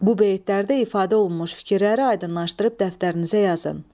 Bu beytlərdə ifadə olunmuş fikirləri aydınlaşdırıb dəftərinizə yazın.